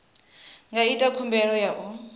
nga ita khumbelo ya u